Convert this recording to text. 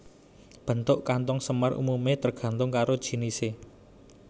Bentuk kanthong semar umumé tergantung karo jinisé